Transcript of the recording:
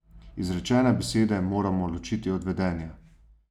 Izrečene besede moramo ločiti od vedenja.